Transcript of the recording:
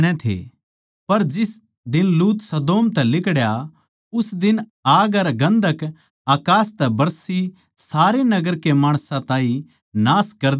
पर जिस दिन लूत सदोम तै लिकड़या उस दिन आग अर गन्धक अकास तै बरसी सारे नगर के माणसां ताहीं नाश कर दिया